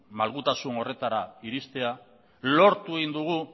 malgutasun horretara iristea lortu egin dugu